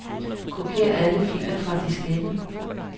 Kopier alle filer fra diskette.